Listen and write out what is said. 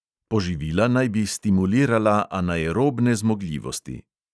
Poživila naj bi stimulirala anaerobne zmogljivosti.